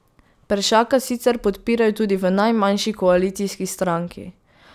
Peršaka sicer podpirajo tudi v najmanjši koalicijski stranki.